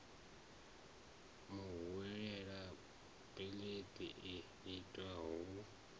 muhwelelwa beiḽi i itwe hu